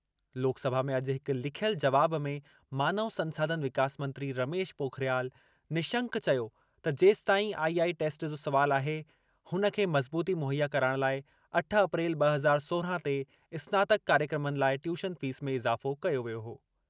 लोकसभा में अॼु हिक लिखियल जवाब में मानव संसाधन विकास मंत्री रमेश पोखरियाल निशंक चयो त जेसिताईं आईआई टेस्ट जो सुवालु आहे उन खे मज़बूती मुहैया कराइणु लाइ अठ अप्रैल ॿ हज़ार सोरिहां ते स्नातक कार्यक्रमनि लाइ ट्यूशन फ़ीस में इज़ाफ़ो कयो वियो हो।